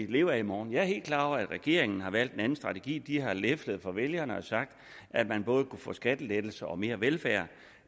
leve af i morgen jeg er helt klar over at regeringen har valgt en anden strategi de har leflet for vælgerne og sagt at man både kunne få skattelettelser og mere velfærd